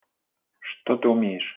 что ты умеешь